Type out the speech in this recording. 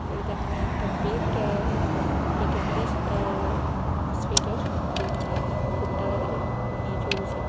ও এইটা মনে হয় একটা pet uh veterinary uh hospital দিয়ে এইখানে কুকুরটার ইয়ে চলছে।